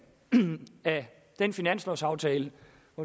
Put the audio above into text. af den finanslovaftale